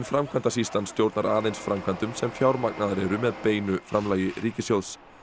framkvæmdasýslan stjórnar aðeins framkvæmdum sem fjármagnaðar eru með beinu framlagi ríkissjóðs